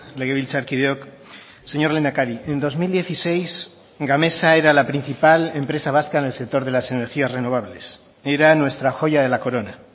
legebiltzarkideok señor lehendakari en dos mil dieciséis gamesa era la principal empresa vasca en el sector de las energías renovables era nuestra joya de la corona